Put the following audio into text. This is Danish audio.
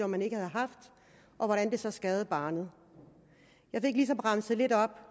man ikke havde haft og hvordan det så skadede barnet jeg fik ligesom remset lidt op